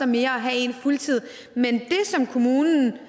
mere at have en fuldtid men det at kommunen